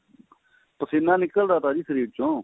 ਪਸੀਨਾ ਨਿਕਲਦਾ ਥਾ ਜੀ ਸਰੀਰ ਚੋਂ